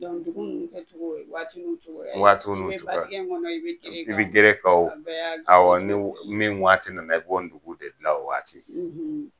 ndugu ninnu kɛcogo o ye waati n'u cogoya ye. Waati n'u cogoya. N'i bɛ b'a dingɛn kɔnɔ o i bɛ gere kan. I bɛ gere kan o. A bɛɛ y'a . Awɔ ni min waati nana i b'ɔ ntugu de dilan o waati.